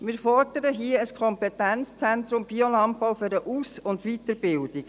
Wir fordern hier ein Kompetenzzentrum Biolandbau für die Aus- und Weiterbildung.